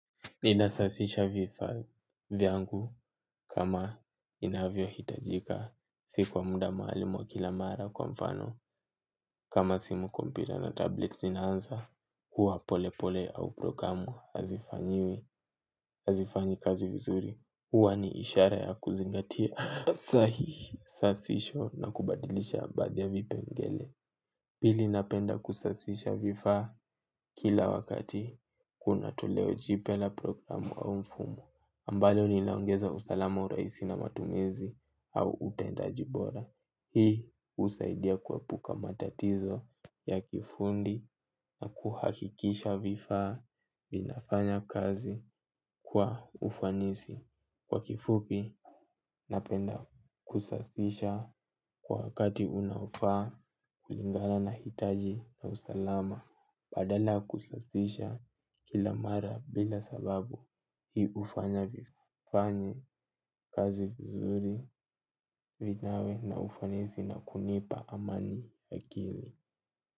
Inasasisha vifaa vyangu kama inavyo hitajika. Sikwa muda maalum wa kila mara kwa mfano. Kama simu kompira na tablets zinaanza. Kwa pole pole au programu hazifanyi kazi vizuri. Huwa ni ishara ya kuzingatia. Sahi. Sasisho na kubadilisha baadhi ya vipengele. Pili napenda kusasisha vifaa kila wakati. Kuna toleo jipya la programu au mfumo. Ambalo linaongeza usalama urahisi matumizi au utendaji bora. Hii husaidia kuepuka matatizo ya kifundi na kuhakikisha vifaa vinafanya kazi kwa ufanisi. Kwa kifupi napenda kusasisha kwa wakati unaofaa kulingana na hitaji na usalama. Badala ya kusasisha kilamara bila sababu hii hufanya vifanyi kazi vizuri vinawe na ufanisi na kunipa amani akili.